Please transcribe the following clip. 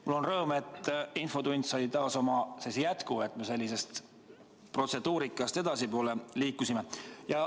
Mul on rõõm, et infotund sai taas oma jätku ja me protseduurikast edasi liikusime.